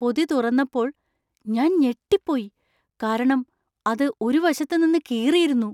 പൊതി തുറന്നപ്പോൾ ഞാൻ ഞെട്ടിപ്പോയി ,കാരണം അത് ഒരു വശത്ത് നിന്ന് കീറിയിരുന്നു !